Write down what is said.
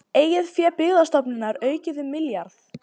Eigið fé Byggðastofnunar aukið um milljarð